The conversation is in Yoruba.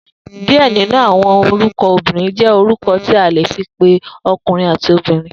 Diẹ ninu awọn orukọ obinrin jẹ̀ orukọ tí a le fì pẹ ọkurin ati obirin